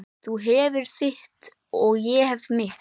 Þú hefur þitt og ég hef mitt.